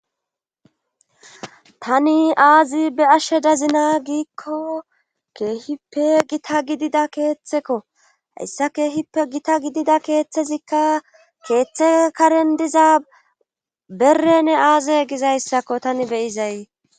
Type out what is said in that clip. tani aazi be7ashe dazina giikko keehippe gita gidida keeththekko hayssa keehippe gita gidida keeththezikka keeththe karen diza berene aaze gizayssakko tani be7izay.